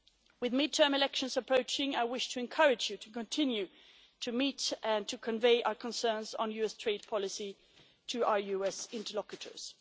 With midterm elections approaching, I wish to encourage you to continue to meet with and to convey our concerns on US trade policy to our US interlocutors.